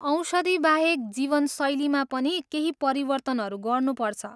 औषधिबाहेक जीवनशैलीमा पनि केही परिवर्तनहरू गर्नुपर्छ ।